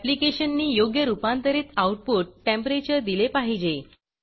ऍप्लिकेशननी योग्य रूपांतरित output temperature दिले पाहिजे